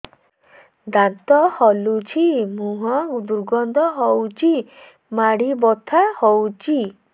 ଦାନ୍ତ ହଲୁଛି ମୁହଁ ଦୁର୍ଗନ୍ଧ ହଉଚି ମାଢି ବଥା ହଉଚି